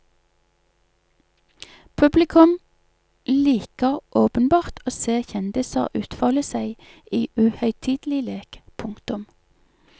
Publikum liker åpenbart å se kjendiser utfolde seg i uhøytidelig lek. punktum